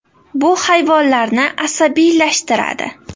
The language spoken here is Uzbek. Bu hayvonlarni asabiylashtiradi.